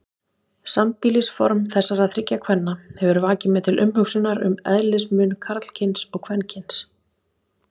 Sambýlisform þessara þriggja kvenna hefur vakið mig til umhugsunar um eðlismun karlkyns og kvenkyns.